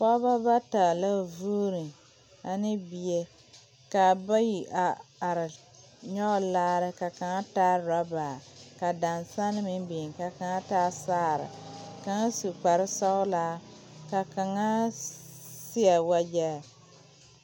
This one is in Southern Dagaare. Pɔgeba bata la vuuni ane bie ka bayi a are nyɔge laare ka kaŋa taa orɔba ka dansaŋ meŋ biŋ ka kaŋa taa saare kaŋ su kparesɔglaa ka kaŋa seɛ wagyɛ.